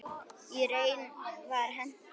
Í raun var henni hent.